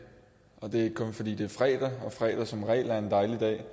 og det er ikke kun fordi det er fredag og fredag som regel er en dejlig dag